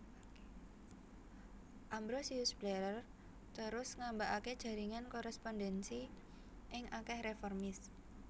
Ambrosius Blarer terus ngambakaké jaringan korespondensi ing akèh reformis